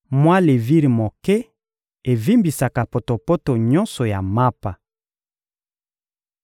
Mwa levire moke evimbisaka potopoto nyonso ya mapa.